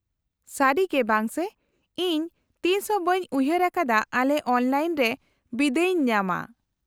-ᱥᱟᱹᱨᱤᱜᱮ ᱵᱟᱝᱥᱮ, ᱤᱧ ᱛᱤᱥᱦᱚᱸ ᱵᱟᱹᱧ ᱩᱭᱦᱟᱹᱨ ᱟᱠᱟᱫᱟ ᱟᱞᱮ ᱚᱱᱞᱟᱭᱤᱱ ᱨᱮ ᱵᱤᱫᱟᱹᱭ ᱤᱧ ᱧᱟᱢᱟ ᱾